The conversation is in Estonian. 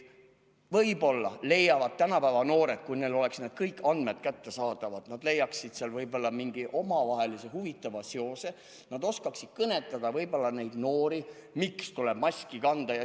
Võib-olla leiaksid tänapäeva noored, kui neil oleksid kõik andmed kättesaadavad, seal mingi omavahelise huvitava seose, ja nad oskaksid kõnetada noori, miks tuleb maski kanda.